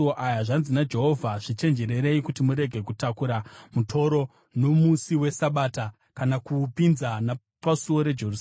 Zvanzi naJehovha: Zvichenjererei kuti murege kutakura mutoro nomusi weSabata kana kuupinza napasuo reJerusarema.